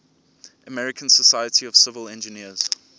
american society of civil engineers